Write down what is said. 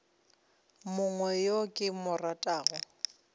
mongwe yo ke mo ratago